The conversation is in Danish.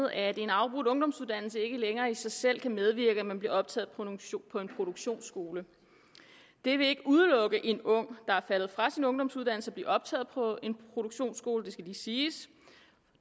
at en afbrudt ungdomsuddannelse ikke længere i sig selv kan medvirke til at man bliver optaget på en produktionsskole det vil ikke udelukke en ung der er faldet fra sin ungdomsuddannelse fra at blive optaget på en produktionsskole det skal lige siges